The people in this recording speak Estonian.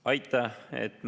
Aitäh!